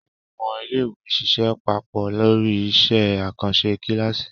Àwọn ọmọ iléèwé ṣiṣẹ́ papọ̀ lórí iṣẹ́ àkànṣe kíláàsì